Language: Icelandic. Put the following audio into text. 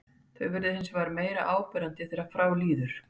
Þau verða hins vegar meira áberandi þegar frá líður.